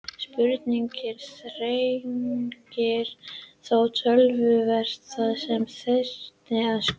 Spurningin þrengir þó töluvert það sem þyrfti að skoða.